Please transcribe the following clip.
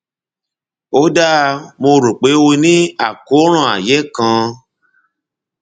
ó dáa mo rò pé o ní àkóràn ààyé kan